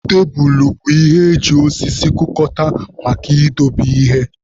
Tebulu bụ ihe eji osisi kụkọta maka idobe ihe